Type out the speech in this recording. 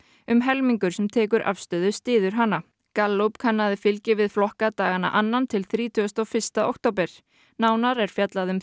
um helmingur sem tekur afstöðu styður hana Gallup kannaði fylgi við flokka dagana annan til þrítugasta og fyrsta október nánar er fjallað um